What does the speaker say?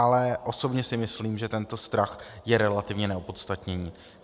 Ale osobně si myslím, že tento strach je relativně neopodstatněný.